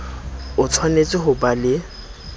o tshwanetse ho ba le